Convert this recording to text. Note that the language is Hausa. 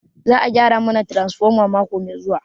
Za a gyara mana transfoma mako mai zuwa.